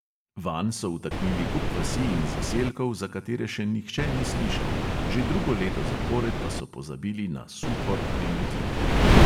Vanj so vtaknili kup vasi in zaselkov, za katere še nihče ni slišal, že drugo leto zapored pa so pozabili na suhor pri metliki.